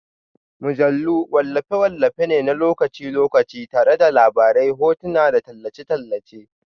Mujallu wallafe-wallafe ne na lokaci-lokaci tare da labarai, hotuna, da tallace-tallace